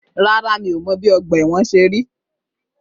Rárá, mi o mọ̀ bí ọgbà ẹ̀wọ̀n ṣe rí.